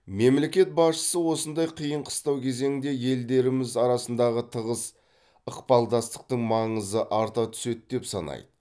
мемлекет басшысы осындай қиын қыстау кезеңде елдеріміз арасындағы тығыз ықпалдастықтың маңызы арта түседі деп санайды